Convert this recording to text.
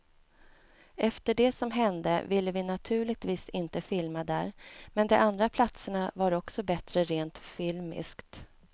Efter det som hände ville vi naturligtvis inte filma där, men de andra platserna var också bättre rent filmiskt.